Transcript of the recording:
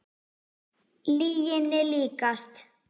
Lyginni líkast.